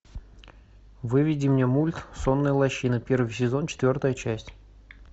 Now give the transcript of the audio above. выведи мне мульт сонная лощина первый сезон четвертая часть